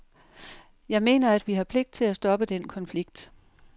Jeg mener, at vi har pligt til at stoppe den konflikt.